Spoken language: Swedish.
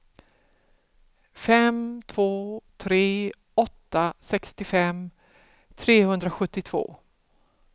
fem två tre åtta sextiofem trehundrasjuttiotvå